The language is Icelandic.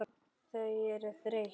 Þau eru þreytt.